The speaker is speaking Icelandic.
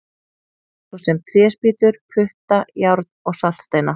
Svo sem tréspýtur, putta, járn og saltsteina!